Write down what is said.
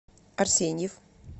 арсеньев